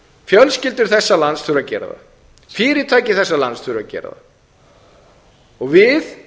fjölskyldur þessa lands þurfa að gera það fyrirtæki þessa lands þurfa að gera það við